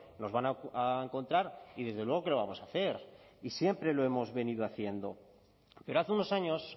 nos van a encontrar y desde luego que lo vamos a hacer y siempre lo hemos venido haciendo pero hace unos años